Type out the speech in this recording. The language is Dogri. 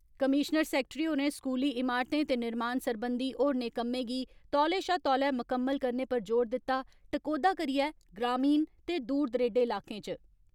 कमीशनर सैक्ट्री होरें स्कूली इमारतें ते निर्माण सरबंधी होरने कम्में गी तौले शा तौले मुकम्मल करने पर जोर दिता, टकोहदा करियै ग्रामीण ते दूर दरेडे इलाकें च।